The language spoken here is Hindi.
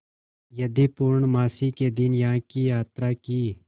यदि पूर्णमासी के दिन यहाँ की यात्रा की